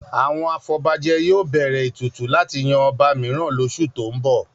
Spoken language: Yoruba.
Àwọn afọbajẹ yóò bẹ̀rẹ̀ ètùtù láti yan ọba mìíràn lóṣù tó ń bọ̀